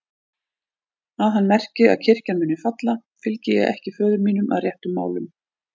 Að hann merki að kirkjan muni falla, fylgi ég ekki föður mínum að réttum málum.